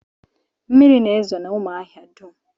Mmiri na-ezo n'ụmụahia dum